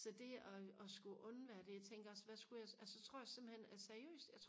så det og og skulle undvære det jeg tænker også hvad skulle jeg altså så tror jeg simpelthen altså seriøst